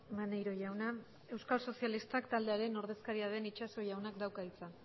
maneiro jauna euskal sozialistak taldearen ordezkaria den itxaso jaunak dauka hitza